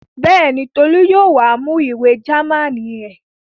Bẹ́ẹ̀ni, Tolú yóò wá mú ìwé Jámánì ẹ̀.